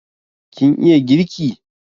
Kin iya girki?